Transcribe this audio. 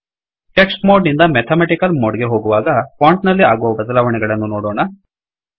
text mode ನಿಂದ mathematical mode ಗೆ ಹೋಗುವಾಗ ಫೋಂಟ್ ನಲ್ಲಿ ಆಗುವ ಬದಲಾವಣೆಗಳನ್ನು ನೋಡೋಣ